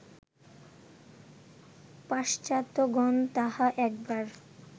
পাশ্চাত্ত্যগণ তাহা একবার